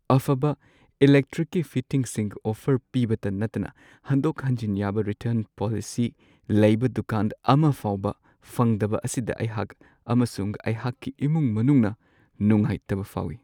ꯑꯐꯕ ꯏꯂꯦꯛꯇ꯭ꯔꯤꯛꯀꯤ ꯐꯤꯇꯤꯡꯁꯤꯡ ꯑꯣꯐꯔ ꯄꯤꯕꯇ ꯅꯠꯇꯅ ꯍꯟꯗꯣꯛ-ꯍꯟꯖꯤꯟ ꯌꯥꯕ ꯔꯤꯇꯔꯟ ꯄꯣꯂꯤꯁꯤ ꯂꯩꯕ ꯗꯨꯀꯥꯟ ꯑꯃ ꯐꯥꯎꯕ ꯐꯪꯗꯕ ꯑꯁꯤꯗ ꯑꯩꯍꯥꯛ ꯑꯃꯁꯨꯡ ꯑꯩꯍꯥꯛꯀꯤ ꯏꯃꯨꯡ-ꯃꯅꯨꯡꯅ ꯅꯨꯡꯉꯥꯏꯇꯕ ꯐꯥꯎꯋꯤ ꯫